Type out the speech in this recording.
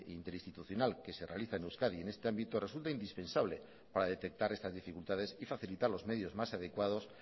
interinstitucional que se realiza en euskadi en este ámbito resulta indispensable para detectar estas dificultades y facilitar los medios más adecuados